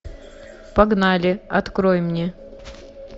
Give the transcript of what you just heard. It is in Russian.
погнали открой мне